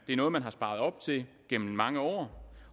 er noget man har sparet op til igennem mange år